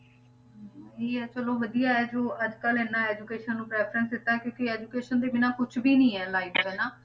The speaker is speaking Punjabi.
ਇਹੀ ਹੈ ਚਲੋ ਵਧੀਆ ਹੈ ਜੋ ਅੱਜ ਕੱਲ੍ਹ ਇੰਨਾ education ਨੂੰ preference ਦਿੱਤਾ ਕਿਉਂਕਿ education ਦੇ ਬਿਨਾਂ ਕੁਛ ਵੀ ਨੀ ਹੈ life 'ਚ ਹਨਾ